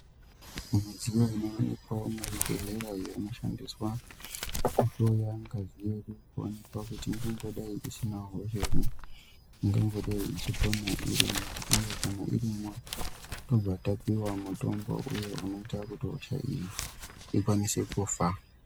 Midziyo inoonekwawo muzvibhedhlerayo inoshandiswa pakuhloya ngazi yedu kuonekwa kuti ingadai isina hosha ere, ingambodai ichikona irimwo, uye kana irimwo tobva tapiwa mutombo uyo unoita kuti hosha iyi ikwanise kufa.